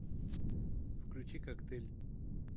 включи коктейль